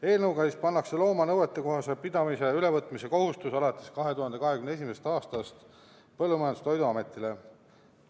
Eelnõuga pannakse looma nõuetekohase pidamise ülevõtmise kohustus alates 2021. aastast Põllumajandus- ja Toiduametile.